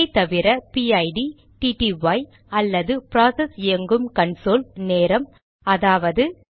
இதைத்தவிர PID TTY அல்லது process இயங்கும் கன்சோல் நேரம் அதாவது